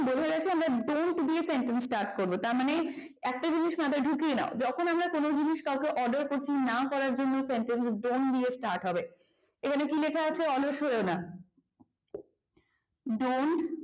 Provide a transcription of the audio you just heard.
এবার don't দিয়ে sentence start করবো তার মানে একটা জিনিস মাথায় ঢুকিয়ে নাও। যখন আমরা কোন জিনিস কাউকে order করছি না করার জন্য sentence তা don't দিয়ে start হবে এখানে কি লেখা আছে অলস হইয়ো না dont